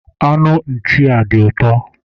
Anụ nchi a dị ụtọ.